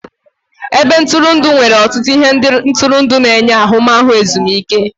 Ebe ntụrụndụ nwere ọtụtụ ihe ntụrụndụ na-enye ahụmahụ ezumike.